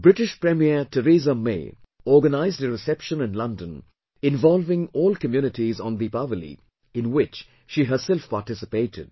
British premier Theresa May organised a reception in London involving all communities on Deepawali in which she herself participated